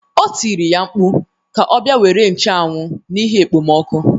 O tiri ya mkpu ka ọ bia nwere ncheanwu n'ihi ekpemoku.